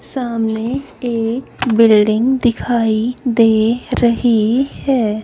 सामने एक बिल्डिंग दिखाई दे रही है।